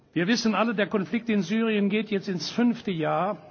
Wir wissen alle Der Konflikt in Syrien geht jetzt ins fünfte Jahr.